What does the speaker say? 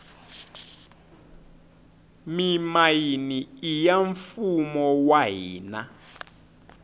mimayini iya mfumo wa hina